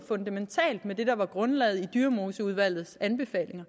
fundamentalt med det der var grundlaget i dyremoseudvalgets anbefalinger